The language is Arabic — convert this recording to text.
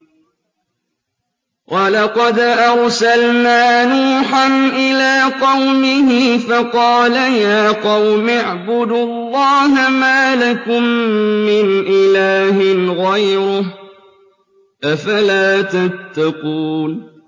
وَلَقَدْ أَرْسَلْنَا نُوحًا إِلَىٰ قَوْمِهِ فَقَالَ يَا قَوْمِ اعْبُدُوا اللَّهَ مَا لَكُم مِّنْ إِلَٰهٍ غَيْرُهُ ۖ أَفَلَا تَتَّقُونَ